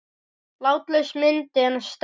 Látlaus mynd en sterk.